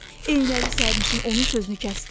Eynəkli sərnişin onun sözünü kəsdi.